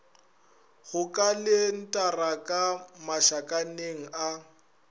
go kalentara ka mašakaneng a